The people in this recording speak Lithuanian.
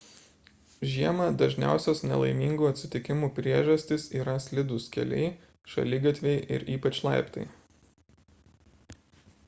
žiemą dažniausios nelaimingų atsitikimų priežastys yra slidūs keliai šaligatviai ir ypač laiptai